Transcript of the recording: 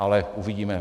Ale uvidíme.